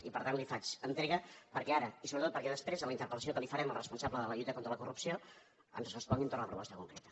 i per tant li’n faig entrega perquè ara i sobretot perquè després en la interpelresponsable de la lluita contra la corrupció ens respongui entorn de la proposta concreta